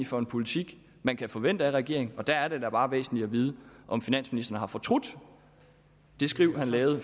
for en politik man kan forvente af regeringen og der er det da bare væsentligt at vide om finansministeren har fortrudt det skriv han lavede